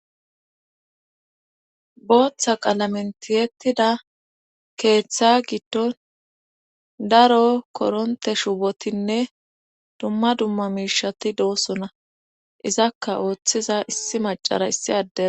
Bootha qalamen tiyettida keetha giddon daro korontte shubotinne dumma dumma miishati doosona izakka oothiza issi maccara issi addera.